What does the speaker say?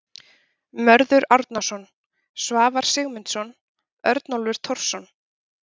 Mörður Árnason, Svavar Sigmundsson, Örnólfur Thorsson.